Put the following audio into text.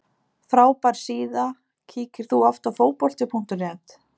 Frábær síða Kíkir þú oft á Fótbolti.net?